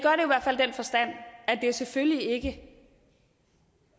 selvfølgelig ikke